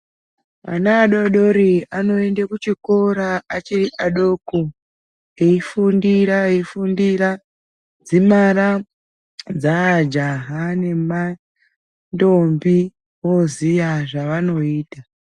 Ana adodori anoenda kuchikora achiri chidoko eifundira eifundira kudzimara dzajaha ndombi voziva zvavanoita.